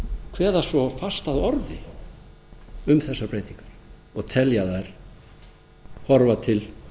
kveða svo fast að orði um þessar breytingar og telja þær horfa til